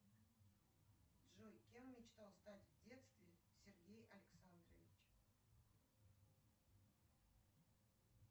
джой кем мечтал стать в детстве сергей александрович